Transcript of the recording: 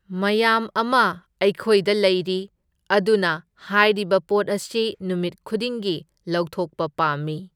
ꯃꯌꯥꯝ ꯑꯃ ꯑꯩꯈꯣꯏꯗ ꯂꯩꯔꯤ, ꯑꯗꯨꯅ ꯍꯥꯏꯔꯤꯕ ꯄꯣꯠ ꯑꯁꯤ ꯅꯨꯃꯤꯠ ꯈꯨꯗꯤꯡꯒꯤ ꯂꯧꯊꯣꯛꯄ ꯄꯥꯝꯃꯤ꯫